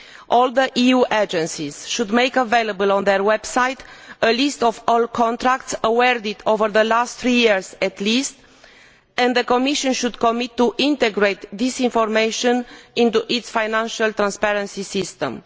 All the EU agencies should make available on their websites a list of all contracts awarded over the previous three years at least, and the Commission should undertake to integrate this information into its financial transparency system.